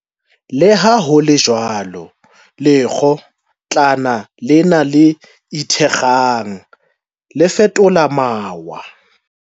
Leha ho le jwalo, Lekgo tlana lena le Ikgethang, le fetola mawa.